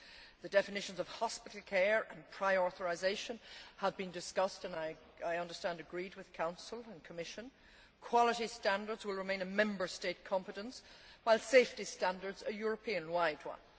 The definitions of hospital care and prior authorisation have been discussed and, I understand, agreed with Council and Commission. Quality standards will remain a Member State competence, while safety standards a European wide one.